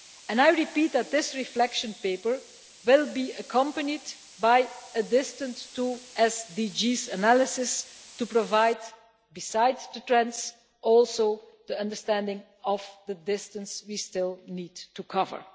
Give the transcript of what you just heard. I repeat that this Reflection Paper will be accompanied by a distance to SDGs' analysis to provide, besides the trends, also an understanding of the distance we still need to cover.